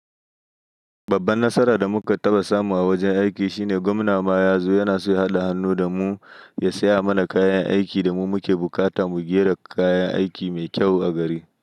Babban nasarar da muka taɓa samu a wajen aiki shine gwamna ma ya zo yana so ya haɗa hannu da mu ya saya mana kayan aikin da mu muke bukata mu ge kayan aiki mai kyau a gari.